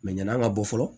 ɲana ka bɔ fɔlɔ